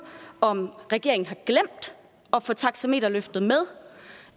om regeringen har glemt at få taxameterløftet med